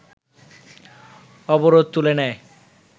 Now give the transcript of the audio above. অবরোধ তুলে নেয়